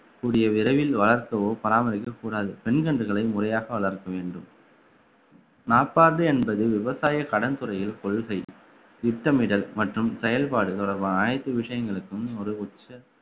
கூடிய விரைவில் வளர்த்தவோ பராமரிக்கவோ கூடாது பெண் கன்றுகளை முறையாக வளர்க்க வேண்டும் நாப்பாது என்பது விவசாய கடன் துறையில் கொள்கை திட்டமிடல் மற்றும் செயல்பாடு தொடர்பான அனைத்து விஷயங்களுக்கும் ஒரு உச்ச